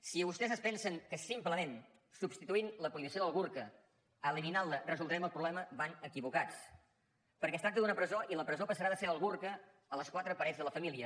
si vostès es pensen que simplement substituint la prohibició del burca eliminant la resoldrem el problema van equivocats perquè es tracta d’una presó i la presó passarà de ser el burca a les quatre parets de la família